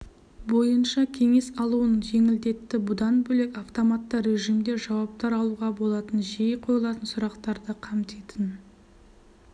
бойынша кеңес алуын жеңілдетті бұдан бөлек автоматты режимде жауаптар алуға болатын жиі қойылатын сұрақтарды қамтитын